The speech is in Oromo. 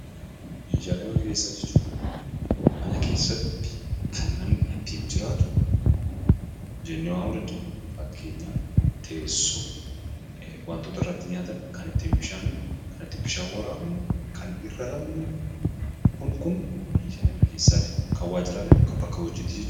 Meeshaalee mana keessaa jechuun mana keessatti kan namni ittiin jiraatu jennee waamuu dandeenya. Fakkeenyaaf teessuma, waan irratti waa nyaatamu, kan itti bishaan waraabnu, kan irra rafnu kun kun meeshaalee mana keessaa jedhamu. Meeshaalee waajjiraa jechuun immoo waajjiraalee bakka hojiitti jechuudha.